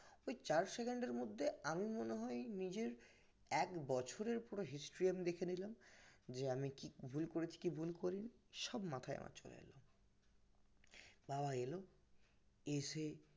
ওই চার second এরমধ্যে আমি মনে হয় নিজের এক বছরের পুরো history আমি দেখে নিলাম যে আমি কি ভুল করেছি কি ভুল করিনি সব মাথায় আমার চলে এলো বাবা এলো এসে